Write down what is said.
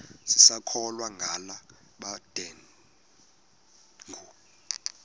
sisakholwa ngala mabedengu